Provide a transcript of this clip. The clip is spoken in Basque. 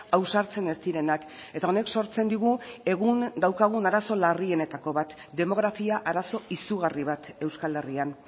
ausartzen ez direnak eta honek sortzen digu egun daukagun arazo larrienetako bat demografia arazo izugarri bat euskal herrian